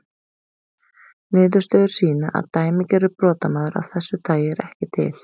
Niðurstöður sýna að dæmigerður brotamaður af þessu tagi er ekki til.